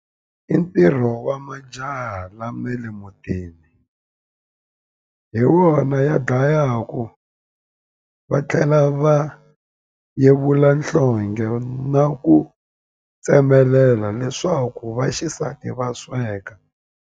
I ntirho wa majaha lama le mutini hi wona ya dlayaku va tlhela va yevula nhlonghe na ku tsemelela leswaku vaxisati va sweka.